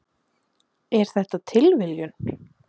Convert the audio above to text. Er þetta tilviljun?